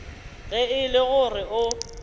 ge e le gore o